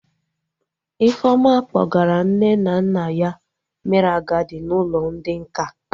Ifeoma kpọgara nne na nna ya mere agadi n'ụlọ ndị nká